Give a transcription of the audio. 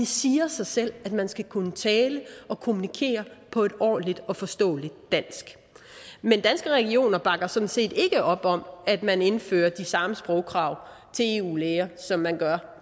siger sig selv at man skal kunne tale og kommunikere på et ordentligt og forståeligt dansk men danske regioner bakker sådan set ikke op om at man indfører de samme sprogkrav til eu læger som man gør